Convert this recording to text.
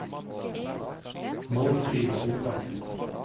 Målfrid Solbakken